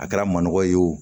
A kɛra maɔgɔ ye o